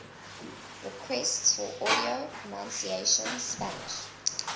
requests for audio pronunciation spanish